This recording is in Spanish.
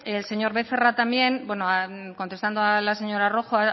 el señor becerra también bueno contestando a la señora rojo